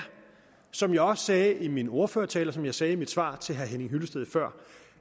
som jeg også sagde i min ordførertale og som jeg sagde i mit svar til herre henning hyllested før